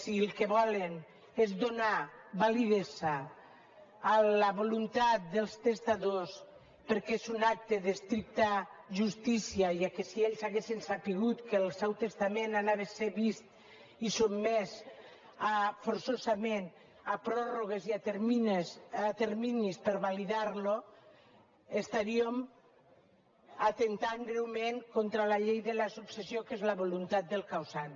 si el que volen és donar validesa a la voluntat dels testadors perquè és un acte d’estricta justícia ja que si ells haguessin sabut que el seu testament anava a ser vist i sotmès forçosament a pròrrogues i a terminis per validar lo estaríem atemptant greument contra la llei de la successió que és la voluntat del causant